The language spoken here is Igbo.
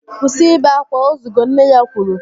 Kwụsị ibe akwa, ozugo! Nne ya kwuru